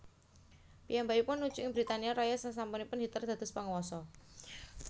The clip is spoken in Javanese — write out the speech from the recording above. Piyambakipun nuju ing Britania Raya sasampunipun Hitler dados panguwasa